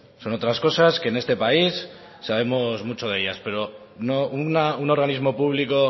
son otras cosas que en este país sabemos mucho de ellas pero no un organismo público